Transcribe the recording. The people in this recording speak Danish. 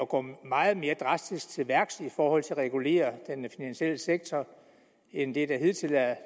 gå meget mere drastisk til værks for at regulere den finansielle sektor end det der hidtil er